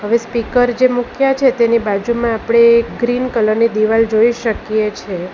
હવે સ્પીકર જે મૂક્યા છે તેની બાજુમાં આપણે ગ્રીન કલરની દિવાલ જોઈ શકીએ છીએ.